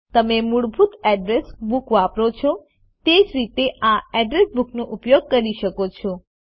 તમે મૂળભૂત address book વાપરો છો તે જ રીતે આ અડ્રેસ બુકનો ઉપયોગ કરી શકો છો